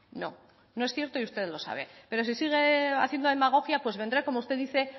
no no es cierto y usted lo sabe pero si sigue haciendo demagogia pues vendré como usted dice